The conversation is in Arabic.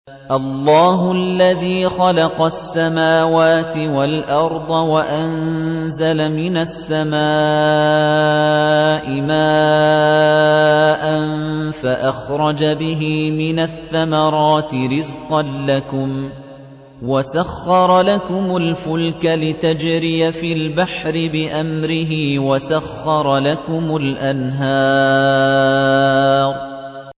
اللَّهُ الَّذِي خَلَقَ السَّمَاوَاتِ وَالْأَرْضَ وَأَنزَلَ مِنَ السَّمَاءِ مَاءً فَأَخْرَجَ بِهِ مِنَ الثَّمَرَاتِ رِزْقًا لَّكُمْ ۖ وَسَخَّرَ لَكُمُ الْفُلْكَ لِتَجْرِيَ فِي الْبَحْرِ بِأَمْرِهِ ۖ وَسَخَّرَ لَكُمُ الْأَنْهَارَ